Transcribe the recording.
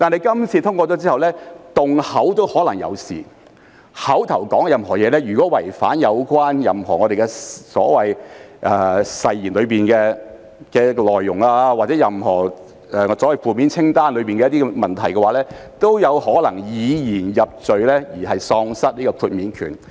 如果口頭上說的任何東西，違反任何誓言的內容或任何負面清單的行為，都有可能以言入罪，議員因而喪失豁免權。